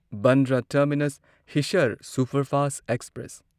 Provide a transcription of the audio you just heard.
Bandra terminus Hisar superfast express